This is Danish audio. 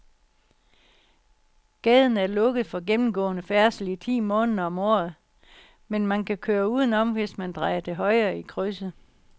Gaden er lukket for gennemgående færdsel ti måneder om året, men man kan køre udenom, hvis man drejer til højre i krydset.